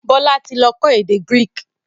Bọlá tí lọ kọ́ èdè Greek